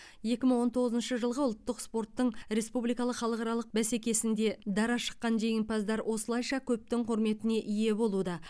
екі мың он тоғызыншы жылғы ұлттық спорттың республикалық халықаралық бәсекесінде дара шыққан жеңімпаздар осылайша көптің құрметіне ие болуда